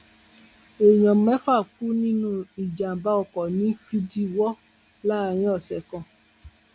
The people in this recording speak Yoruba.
èèyàn mẹfà kú nínú ìjàmbá ọkọ ní fìdíwọ láàrin ọsẹ kan